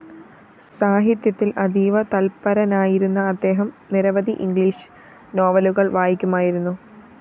സാഹിത്യത്തില്‍ അതീവ തല്പരനായിരുന്ന അദ്ദേഹം നിരവധി ഇംഗ്ലീഷ് നോവലുകള്‍ വായിക്കുമായിരുന്നു